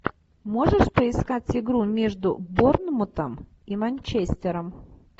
можешь поискать игру между борнмутом и манчестером